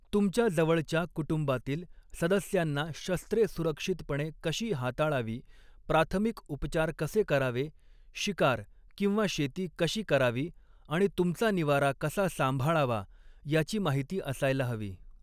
तुमच्या जवळच्या कुटुंबातील सदस्यांना शस्त्रे सुरक्षितपणे कशी हाताळावी, प्राथमिक उपचार कसे करावे, शिकार किंवा शेती कशी करावी आणि तुमचा निवारा कसा सांभाळावा याची माहिती असायला हवी.